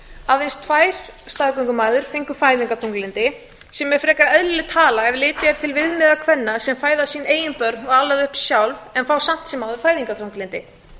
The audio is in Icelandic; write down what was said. aðeins tvær staðgöngumæður fengu fæðingarþunglyndi sem er frekar eðlileg tala ef litið er til viðmiða kvenna sem fæða sín eigin börn og ala þau upp sjálf en fá samt sem áður fæðingarþunglyndi